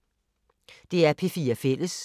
DR P4 Fælles